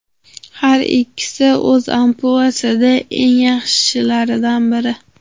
Har ikkisi o‘z ampluasida eng yaxshilardan biri.